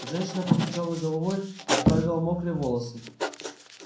женщина покачала головой оправила мокрые волосы